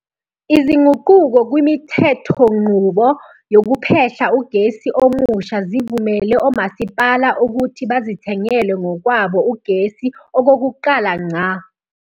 Izinguquko kwimithethonqubo yokuphehla ugesi omusha zivumele omasipala ukuthi bazithengele ngokwabo ugesi okokuqala ngqa.